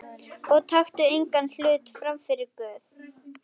Og taktu engan hlut frammyfir Guð.